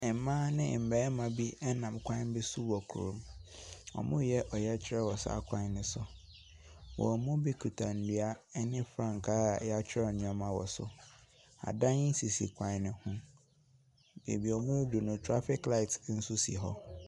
Mmaa me mmarima bi nam kwan bi so wɔ kurom. Wɔreyɛ ɔyɛkyerɛ wɔ saa kwan no so. Wɔn mu bi kita nnua ne frankaa a wɔatwerɛ nneɛma wɔ so. Adan wɔ kwan no so. Baabi a wɔaduru ni, trafic light nso si hɔ.